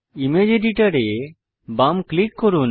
image editor এ বাম click করুন